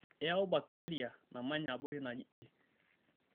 Eyau bakiteria namanya abori naji E.